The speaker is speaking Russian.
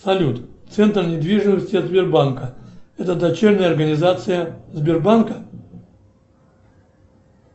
салют центр недвижимости от сбербанка это дочерняя организация сбербанка